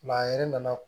a yɛrɛ nana